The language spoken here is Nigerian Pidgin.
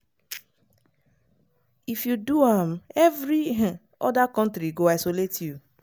if you do am every um oda kontri go isolate you.